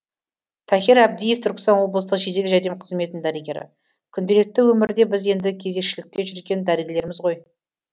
тахир әбдиев түркістан облыстық жедел жәрдем қызметінің дәрігері күнделікті өмірде біз енді кезекшілікте жүрген дәрігерлерміз ғой